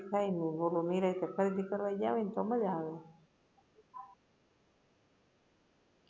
ઓલુ હેરે ખરીદી કરવા ગ્યા હોય ને તો મજા આવે